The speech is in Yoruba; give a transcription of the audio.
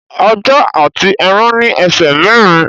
Ajá àti ẹran ní ẹsẹ̀ mẹ́rin